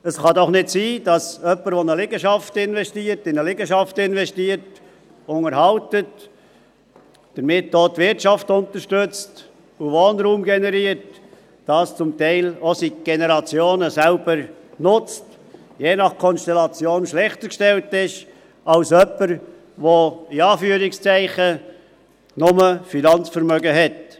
Es kann doch nicht sein, dass jemand, der in eine Liegenschaft investiert, der sie unterhält und damit auch die Wirtschaft unterstützt und Wohnraum generiert, diesen zum Teil auch seit Generationen selber nutzt, je nach Konstellation schlechter gestellt ist als jemand, der «nur Finanzvermögen» hat.